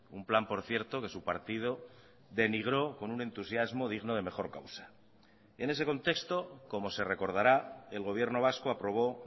un plan por cierto que su partido denigró con un entusiasmo digno de mejor causa en ese contexto como se recordará el gobierno vasco aprobó